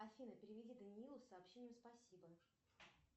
афина переведи даниилу сообщение спасибо